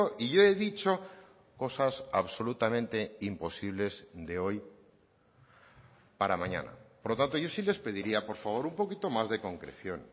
y yo he dicho cosas absolutamente imposibles de hoy para mañana por lo tanto yo sí les pediría por favor un poquito más de concreción